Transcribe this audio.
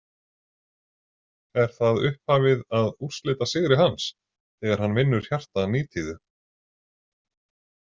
Er það upphafið að úrslitasigri hans, þegar hann vinnur hjarta Nítíðu .